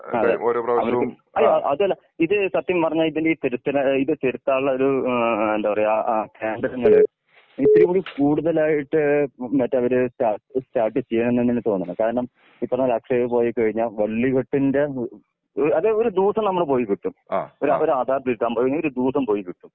അതെ അവർക്കും അയ്യോ അതുമല്ല ഇത് സത്യം പറഞ്ഞ ഇതിൽ ഈ തിരുത്തല് ഇത് തിരുത്താനുള്ള ഒരു ഏഹ് എന്താ പറയാ?*നോട്ട്‌ ക്ലിയർ* ഇത്തിരിം കൂടെ കൂടുതലായിട്ട് മറ്റെ ഒരു സ്റ്റാ സ്റ്റാർട്ട് ചെയാം തന്നെയാണ് തോന്നുന്നേ. കാരണം ഇപ്പോ നമ്മുക്ക് അക്ഷയി പോയി കഴിഞ്ഞ വളി വെട്ടിന്റെ അത് ഒരു ദിവസം നമ്മുടെ പോയി കിട്ടും. ഒരു ആധാർ തിരുത്താൻ പോയ ഒരു ദിവസം പോയി കിട്ടും.